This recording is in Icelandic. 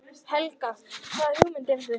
Helga: Hvaða hugmyndir hefurðu?